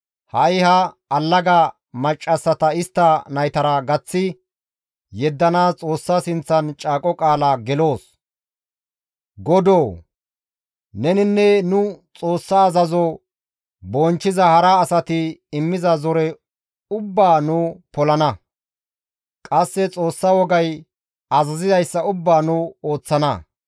Ha7i ha allaga maccassata istta naytara gaththi yeddanaas Xoossa sinththan caaqo qaala geloos; godoo neninne nu Xoossa azazo bonchchiza hara asati immiza zore ubbaa nu polana; qasse Xoossa wogay azazizayssa ubbaa nu ooththana.